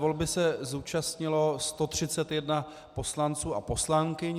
Volby se zúčastnilo 131 poslanců a poslankyň.